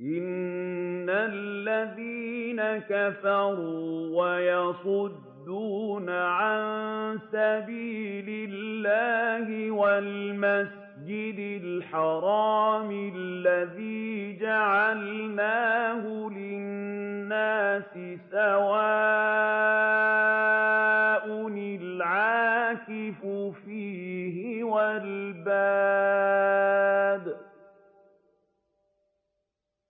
إِنَّ الَّذِينَ كَفَرُوا وَيَصُدُّونَ عَن سَبِيلِ اللَّهِ وَالْمَسْجِدِ الْحَرَامِ الَّذِي جَعَلْنَاهُ لِلنَّاسِ سَوَاءً الْعَاكِفُ فِيهِ وَالْبَادِ ۚ